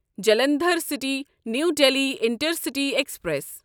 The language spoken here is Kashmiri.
Jalandhar city New Delhi intercity express